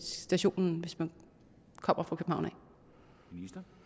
stationen hvis man kommer fra københavn